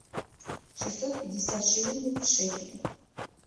шестьсот пятьдесят шиллингов в шекели